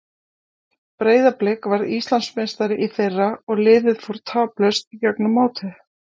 Breiðablik varð Íslandsmeistari í fyrra og liðið fór taplaust í gegnum mótið.